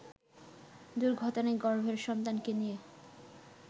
দুর্ঘটনায় গর্ভের সন্তানকে নিয়ে